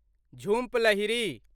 Jhumpa Lahiri